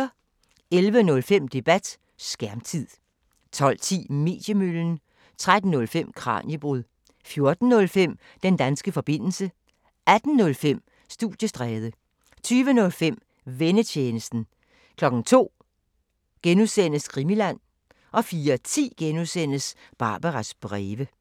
11:05: Debat: Skærmtid 12:10: Mediemøllen 13:05: Kraniebrud 14:05: Den danske forbindelse 18:05: Studiestræde 20:05: Vennetjenesten 02:00: Krimiland (G) 04:10: Barbaras breve (G)